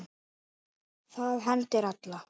Það hendir alla